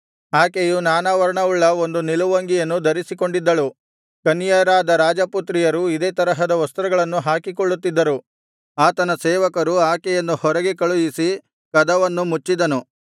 ಆಕೆಯು ನಾನಾ ವರ್ಣವುಳ್ಳ ಒಂದು ನಿಲುವಂಗಿಯನ್ನು ಧರಿಸಿಕೊಂಡಿದ್ದಳು ಕನ್ಯೆಯರಾದ ರಾಜಪುತ್ರಿಯರು ಇದೇ ತರಹದ ವಸ್ತ್ರಗಳನ್ನು ಹಾಕಿಕೊಳ್ಳುತ್ತಿದ್ದರು ಆತನ ಸೇವಕರು ಆಕೆಯನ್ನು ಹೊರಗೆ ಕಳುಹಿಸಿ ಕದವನ್ನು ಮುಚ್ಚಿದನು